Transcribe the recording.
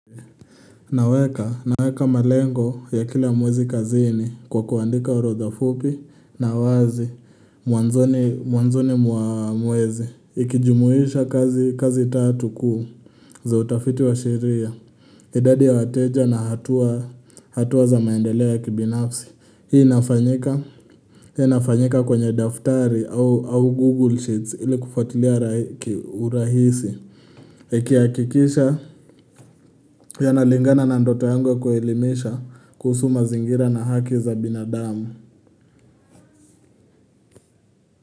Naweka, naweka malengo ya kila mwezi kazini kwa kuandika urodha fupi na wazi mwanzoni mwanzoni mwa mwezi. Ikijumuhisha kazi tatu kuu za utafiti wa sheria idadi ya wateja na hatua za maendelea ya kibinafsi. Hii inafanyika kwenye daftari au Google Sheets ili kufatilia ki urahisi Nikihakikisha yanalingana na ndoto yangu kuelimesha kuhusu ma zingira na haki za binadamu.